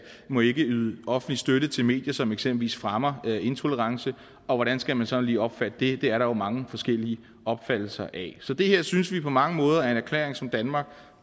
må yde offentlig støtte til medier som eksempelvis fremmer intolerance og hvordan skal man sådan lige opfatte det det er der jo mange forskellige opfattelser af så det her synes vi på mange måder er en erklæring som danmark